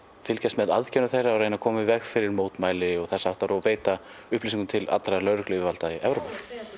fylgjast með aðgerðum þeirra og reyna að koma í veg fyrir mótmæli og þess háttar og veita upplýsingum til allra lögregluyfirvalda í Evrópu